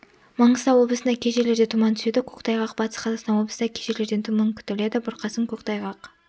маңғыстау облысында кей жерлерде тұман түседі көктайғақ батыс қазақстан облысында кей жерлерде тұман күтіледі бұрқасын көктайғақ